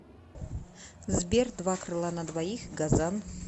сбер два крыла на двоих газан